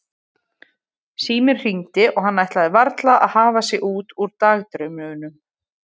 Síminn hringdi og hann ætlaði varla að hafa sig út úr dagdraumunum.